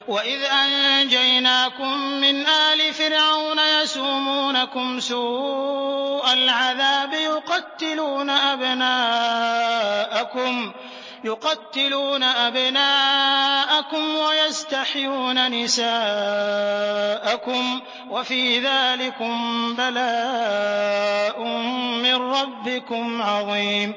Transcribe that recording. وَإِذْ أَنجَيْنَاكُم مِّنْ آلِ فِرْعَوْنَ يَسُومُونَكُمْ سُوءَ الْعَذَابِ ۖ يُقَتِّلُونَ أَبْنَاءَكُمْ وَيَسْتَحْيُونَ نِسَاءَكُمْ ۚ وَفِي ذَٰلِكُم بَلَاءٌ مِّن رَّبِّكُمْ عَظِيمٌ